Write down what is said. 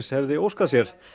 hefði óskað sér